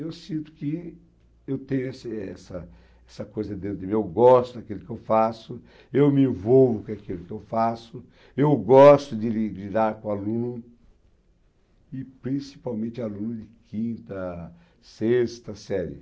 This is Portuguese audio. Eu sinto que eu tenho esse essa essa coisa dentro de mim, eu gosto daquilo que eu faço, eu me envolvo com aquilo que eu faço, eu gosto de lidar com aluno, e principalmente aluno de quinta, sexta série.